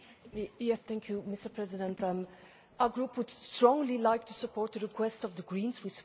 Mr President, our Group would strongly like to support the request of the Greens, we support it fully.